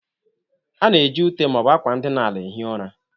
A na-eji ute ma ọ bụ akwa ndịna ala ehie ụra.